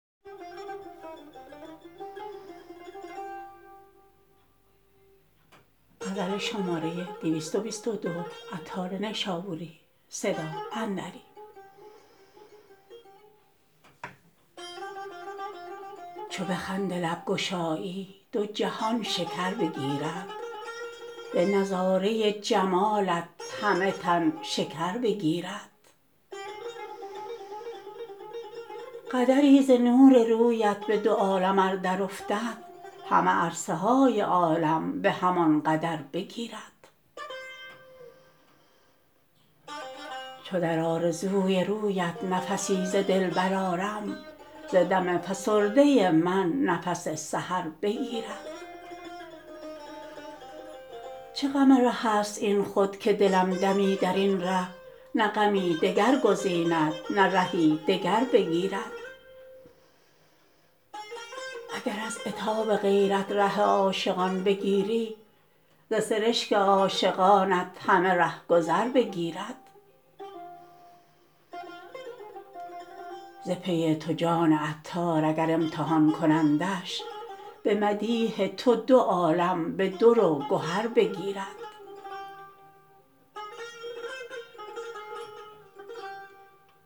چو به خنده لب گشایی دو جهان شکر بگیرد به نظاره جمالت همه تن شکر بگیرد قدری ز نور رویت به دو عالم ار در افتد همه عرصه های عالم به همان قدر بگیرد چو در آرزوی رویت نفسی ز دل برآرم ز دم فسرده من نفس سحر بگیرد چه غم ره است این خود که دلم دمی درین ره نه غمی دگر گزیند نه رهی دگر بگیرد اگر از عتاب غیرت ره عاشقان بگیری ز سرشک عاشقانت همه رهگذر بگیرد ز پی تو جان عطار اگر امتحان کنندش به مدیح تو دو عالم به در و گهر بگیرد